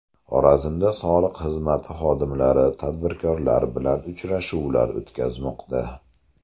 Xorazmda soliq xizmati xodimlari tadbirkorlar bilan uchrashuvlar o‘tkazmoqda.